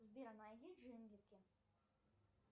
сбер найди джинглики